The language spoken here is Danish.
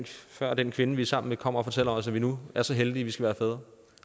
før den kvinde vi er sammen med kommer og fortæller os at vi nu er så heldige at vi skal være fædre